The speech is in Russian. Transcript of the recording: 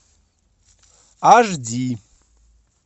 аш ди